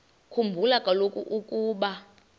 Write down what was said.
khumbula kaloku ukuba